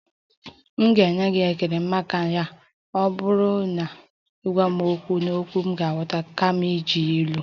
M ga-enwe ekele maka ya ma ọ bụrụ na ị na-agwa m okwu n'okwu m ghọtara kama iji ilu